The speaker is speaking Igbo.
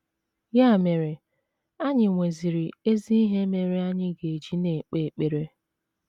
Ya mere, anyị nweziri ezi ihe mere anyị ga - eji na - ekpe ekpere.